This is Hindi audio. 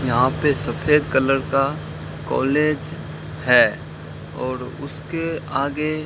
यहां पे सफेद कलर का कॉलेज है और उसके आगे --